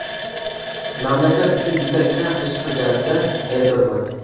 Mamlakat uchun juda kam ish qilganimda aybdorman.